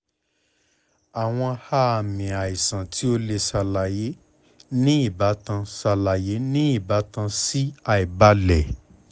awọn aami aisan ti o ti ṣalaye ni ibatan ṣalaye ni ibatan si aibalẹ